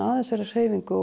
að þessari hreyfingu